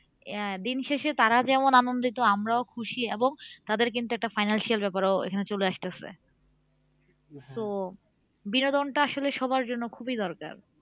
আহ দিনশেষে তারা যেমন আনন্দিত আমরাও খুশি এবং তাদের কিন্তু একটা financial ব্যাপারও এখানে চলে আসতাছে so বিনোদনটা আসলে সবার জন্য খুবই দরকার।